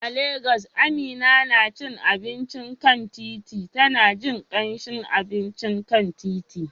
A Legas, Amina na cin abinci a kan titi, tana jin kamshin abincin kan titi.